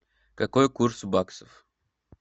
какой курс баксов